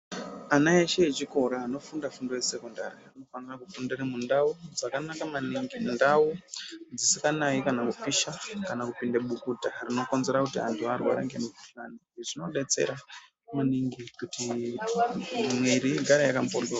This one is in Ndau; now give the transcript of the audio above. Ana eshe echikora anofunda fundo yesekondari anofanira kufundire mundau dzakanaka maningi mundau dzisikanayi kana kupisha kana kupinde bukuta rinokonzera kuti anhu arware ngemukhuhlani izvi zvinodetsera maningi kuti mwiri igare yaka mhoryo.